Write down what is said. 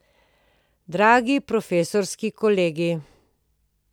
Dragi profesorski kolegi!